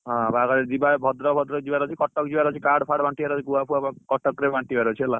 ବାହାଘର ରେ ଯିବା ଭଦ୍ରକ ଫଦରକ ଯିବାର ଅଛି କଟକ ଯିବାର ଅଛି card fard ବାଣ୍ଟିବାର ଅଛି ଗୁଆ ଫୁଆ କଟକ ରେ ବାଣ୍ଟିବାର ଅଛି ହେଲା